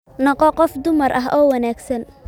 Noqo qof dumar ah oo wanaagsan